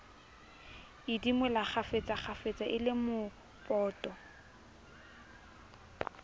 idimola kgafetsakgafetsa e le mopoto